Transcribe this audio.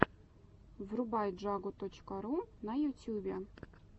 врубай джагу точка ру на ютюбе